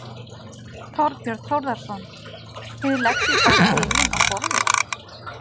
Þorbjörn Þórðarson: Þið leggið bara spilin á borðið?